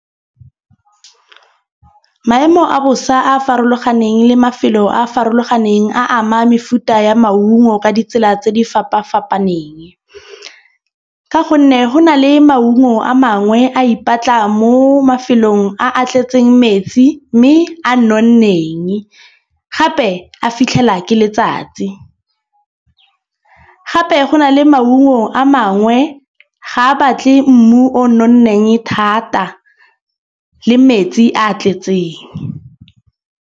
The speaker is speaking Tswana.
Maemo a bosa a a farologaneng le mafelo a a farologaneng a ama mefuta ya maungo ka ditsela tse di fapafapaneng. Ka gonne go na le maungo a mangwe a ipatla mo mafelong a a tletseng metsi. Mme a nonneng gape a fitlhela ke letsatsi. Gape go na le maungo a mangwe ga a batle mmu o nonneng thata le metsi a tletseng.